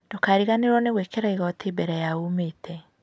Ndũkariganĩrwo nĩ gwĩkĩra igoti mbere ya umĩte